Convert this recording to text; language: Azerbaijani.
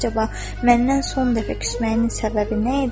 Əcəba, məndən son dəfə küsməyinin səbəbi nə idi?